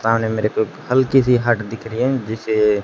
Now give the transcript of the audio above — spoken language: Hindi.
सामने मेरे को एक हल्की सी हट दिख रही है जिसे--